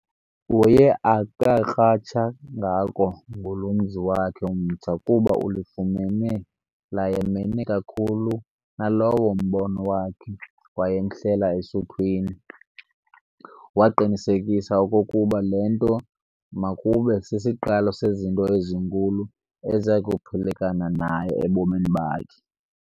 Uye akakratsha ngako ngulo mzi wakhe mtsha, kuba ulifumene layamene kakhulu nalowa mbono wakha wamhlela esuthwini, waqinisekisa okokuba le nto makube sisiqalo sezinto ezinkulu eziyakuphulekana naye ebomini bakhe.